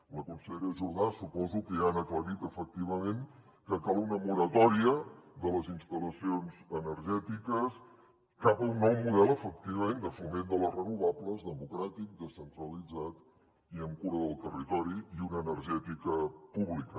la consellera jordà suposo que ha aclarit efectivament que cal una moratòria de les instal·lacions energètiques cap a un nou model efectivament de foment de les renovables democràtic descentralitzat i amb cura del territori i una energètica pública